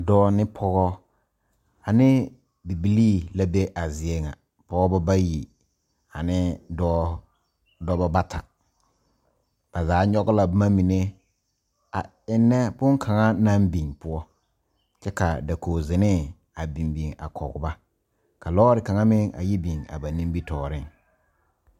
Dɔɔ ne pɔgɔ ane bibilii la be a zie ŋa pɔgeba bayi ane dɔɔ dɔba bata ba zaa nyɔge la boma mine a eŋnɛ bonkaŋa naŋ biŋ poɔ kyɛ ka dakogizenee a biŋ biŋ a kɔge ba ka lɔɔre kaŋa meŋ a yi biŋ ba nimitɔɔreŋ.